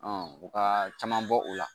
u ka caman bɔ o la